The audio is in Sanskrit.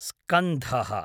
स्कन्धः